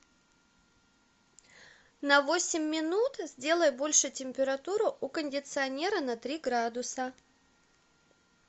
на восемь минут сделай больше температуру у кондиционера на три градуса